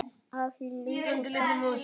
Afhýðið lauk og saxið smátt.